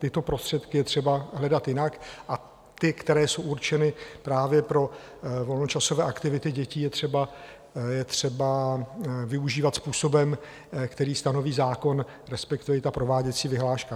Tyto prostředky je třeba hledat jinak a ty, které jsou určeny právě pro volnočasové aktivity dětí, je třeba využívat způsobem, který stanoví zákon, respektive i prováděcí vyhláška.